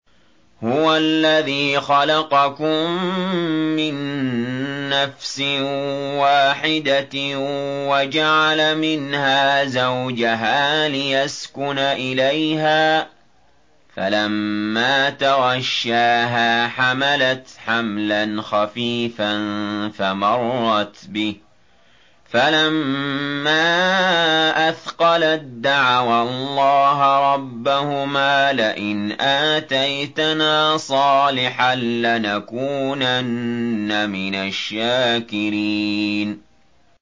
۞ هُوَ الَّذِي خَلَقَكُم مِّن نَّفْسٍ وَاحِدَةٍ وَجَعَلَ مِنْهَا زَوْجَهَا لِيَسْكُنَ إِلَيْهَا ۖ فَلَمَّا تَغَشَّاهَا حَمَلَتْ حَمْلًا خَفِيفًا فَمَرَّتْ بِهِ ۖ فَلَمَّا أَثْقَلَت دَّعَوَا اللَّهَ رَبَّهُمَا لَئِنْ آتَيْتَنَا صَالِحًا لَّنَكُونَنَّ مِنَ الشَّاكِرِينَ